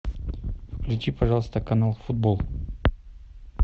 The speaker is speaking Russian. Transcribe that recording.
включи пожалуйста канал футбол